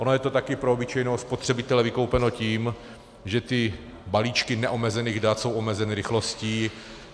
Ono je to taky pro obyčejného spotřebitele vykoupeno tím, že ty balíčky neomezených dat jsou omezeny rychlostí.